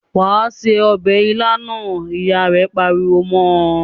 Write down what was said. "Wà á se ọbẹ̀ ilá náà!" Ìyá rẹ̀ pariwo mọ́ ọ.